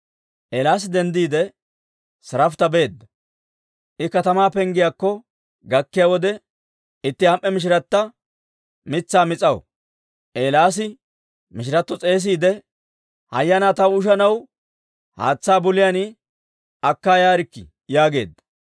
Eelaasi denddiide Siraafita beedda; I katamaa penggiyaakko gakkiyaa wode, itti am"e mishiratta mitsaa mis'aw. Eelaasi mishiratto s'eesiide, «Hayyanaa, taw ushanaw haatsaa buliyaan akka yaarikkii» yaageedda.